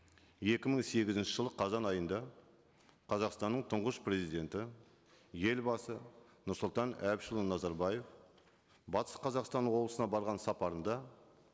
екі мың сегізінші жылы қазан айында қазақстанның тұңғыш президенті елбасы нұрсұлтан әбішұлы назарбаев батыс қазақстан облысына барған сапарында